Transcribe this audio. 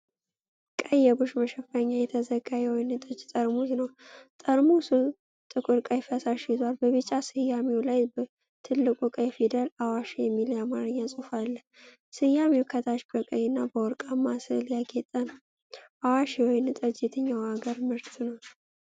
በቀይ የቡሽ መሸፈኛ የተዘጋ የወይን ጠጅ ጠርሙስ ነው። ጠርሙሱ ጥቁር ቀይ ፈሳሽ ይዟል። በቢጫ ስያሜው ላይ በትልቁ ቀይ ፊደል "አዋሽ"የሚል የአማርኛ ጽሑፍ አለ። ስያሜው ከታች በቀይ እና በወርቃማ ስዕል ያጌጠ ነው። "አዋሽ" የወይን ጠጅ የትኛው አገር ምርት ነው?